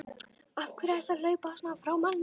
AF HVERJU ERTU AÐ HLAUPA SVONA FRÁ MANNI!